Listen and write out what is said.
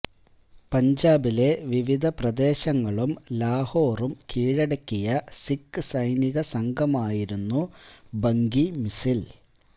പഞ്ചാബിലെ വിവിധ പ്രദേശങ്ങളും ലാഹോറും കീഴടക്കിയ സിഖ് സൈനിക സംഘമായിരുന്നു ഭംഗി മിസിൽ